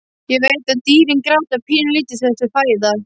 Ég veit að dýrin gráta pínulítið þegar þau fæða.